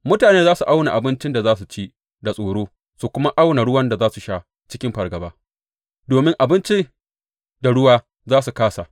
Mutane za su auna abincin da za su ci da tsoro su kuma auna ruwan da za su sha cikin fargaba, domin abinci da ruwa za su kāsa.